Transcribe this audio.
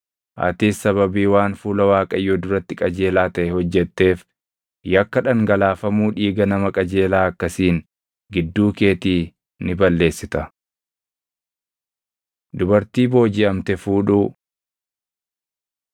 Atis sababii waan fuula Waaqayyoo duratti qajeelaa taʼe hojjetteef yakka dhangalaafamuu dhiiga nama qajeelaa akkasiin gidduu keetii ni balleessita.” Dubartii Boojiʼamte Fuudhuu